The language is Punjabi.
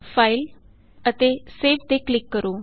ਫਾਈਲ ਅਤੇ ਸੇਵ ਤੇ ਕਲਿਕ ਕਰੋ